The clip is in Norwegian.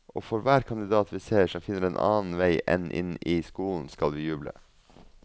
Og for hver kandidat vi ser som finner en annen vei enn inn i skolen, skal vi juble.